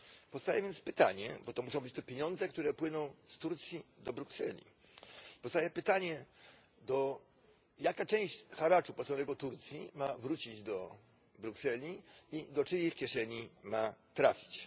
Powstaje więc pytanie bo to muszą być te pieniądze, które płyną z Turcji do Brukseli powstaje pytanie to jaka część haraczu płaconego Turcji ma wrócić do Brukseli i do czyjej kieszeni ma trafić?